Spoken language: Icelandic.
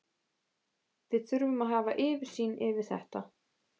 Við þurfum að hafa yfirsýn yfir þetta.